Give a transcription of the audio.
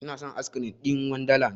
Inason askirim ɗin wanda land